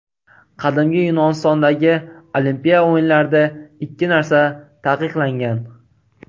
Qadimgi Yunonistondagi Olimpiya o‘yinlarida ikki narsa taqiqlangan.